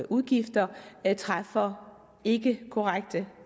udgifter træffer ikkekorrekte